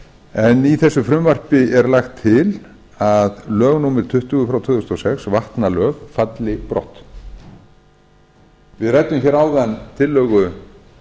en í þessu frumvarpi er lagt til að lög númer tuttugu tvö þúsund og sex vatnalög falli brott við ræddum hér áðan tillögu